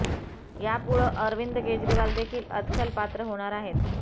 यापुढं अरविंद केजरीवाल देखील अदखल पात्र होणार आहेत